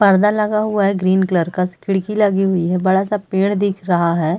पर्दा लगा हुआ है ग्रीन कलर का खिड़की लगी हुई है बड़ा सा पेड़ दिख रहा है।